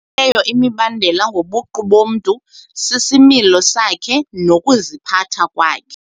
Ebalulekileyo imibandela ngobuqu bomntu sisimilo sakhe nokuziphatha kwakhe.